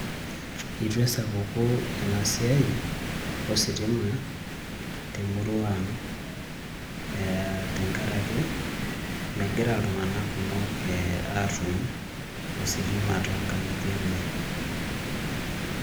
Itu esapuku ena siai ositima temurua ang' tenkaraki megira iltung'anak kumok ee aatum ositima toonkang'itie enye.